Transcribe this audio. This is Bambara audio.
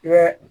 I bɛ